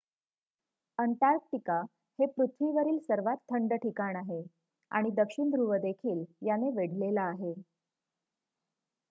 Antarctica हे पृथ्वीवरील सर्वात थंड ठिकाण आहे आणि दक्षिण ध्रुव देखील याने वेढलेला आहे